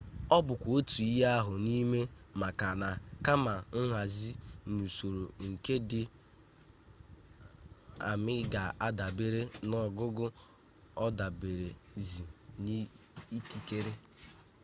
ọ bụkwa otu ihe ahụ n'amị maka na kama nhazi n'usoro nke ndị amị ga-adabere n'ogugo ọ daberezie n'ikikere